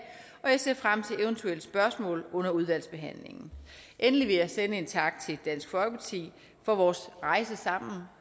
og jeg ser frem til eventuelle spørgsmål under udvalgsbehandlingen endelig vil jeg sende en tak til dansk folkeparti for vores rejse sammen